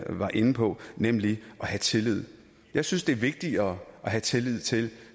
var inde på nemlig at have tillid jeg synes det er vigtigere at have tillid til